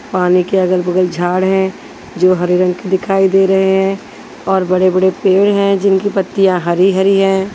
पानी के अगल-बगल झाड़ है जो हरे रंग के दिखाई दे रहे हैं और बड़े-बड़े पेड़ हैं जिनकी पत्तियां हरी-हरी हैं।